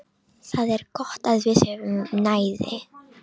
Það er gott að við höfum næði.